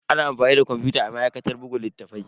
Ana amfani da kwamfuta a ma'aikatar buga littattafai.